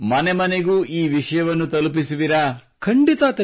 ನೀವು ಮನೆಮನೆಗೂ ಈ ವಿಷಯವನ್ನು ತಲುಪಿಸುವಿರಾ